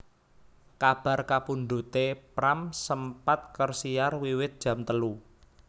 Kabar kapundhuté Pram sempat kersiar wiwit jam telu